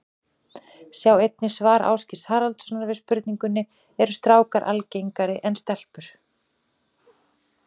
Sjá einnig svar Ásgeirs Haraldssonar við spurningunni Eru strákar algengari en stelpur?